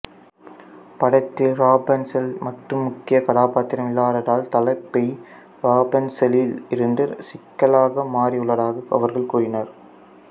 படத்தில் ராபன்ஸல் மட்டும் முக்கிய கதாபாத்திரம் இல்லாததால் தலைப்பை ராபன்ஸலில் இருந்து சிக்கலாக மாற்றியுள்ளதாக அவர்கள் கூறினர்